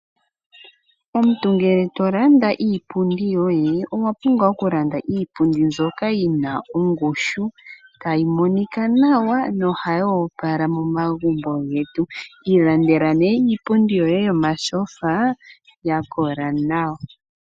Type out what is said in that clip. Omuntu ngele tolanda iipundi yoye, owa pumbwa okulanda iipundi mbyoka yina ongushu, tayi monika nawa yoopala momagumbo getu . Ilandela iipundi yoye yomatyofa yakola nawa.